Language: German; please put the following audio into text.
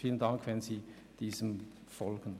Vielen Dank, wenn Sie dieser Forderung folgen.